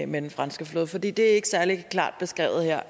med den franske flåde for det er ikke særlig klart beskrevet her